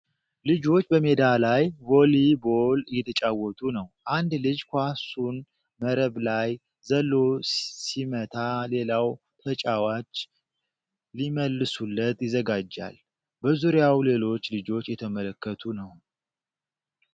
ልጆች በሜዳ ላይ ቮሊቦል እየተጫወቱ ነው። አንድ ልጅ ኳሱን መረብ ላይ ዘሎ ሲመታ፣ ሌላው ተጫዋች ሊመልሱለት ይዘጋጃል። በዙሪያው ሌሎች ልጆች እየተመለከቱ ነው።